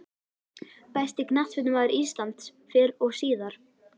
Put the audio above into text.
Besti knattspyrnumaður íslands fyrr og síðar?